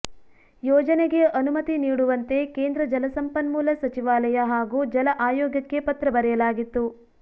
ಯೋಜನೆಗೆ ಅನುಮತಿ ನೀಡುವಂತೆ ಕೇಂದ್ರ ಜಲಸಂಪನ್ಮೂಲ ಸಚಿವಾಲಯ ಹಾಗೂ ಜಲ ಆಯೋಗಕ್ಕೆ ಪತ್ರ ಬರೆಯಲಾಗಿತ್ತು